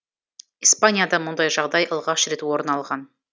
испанияда мұндай жағдай алғаш рет орын алған